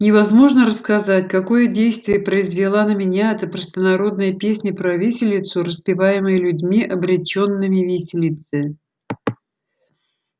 невозможно рассказать какое действие произвела на меня эта простонародная песня про виселицу распеваемая людьми обречёнными виселице